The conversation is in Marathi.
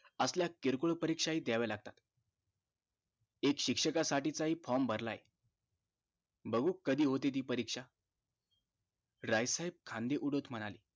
असल्या किरकोळ परीक्षा हि द्यावं लागतात शिक्षका साठी हि form भरलाय बघु कधी होते ती ती परीक्षा राय साहेब खांदे उडवत म्हणाले